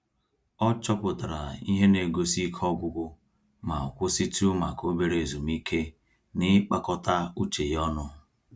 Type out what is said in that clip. Ọ chọpụtara ihe negosi Ike ọgwụgwụ ma kwụsịtụ maka obere ezumike n'ịkpakọta uche ya ọnụ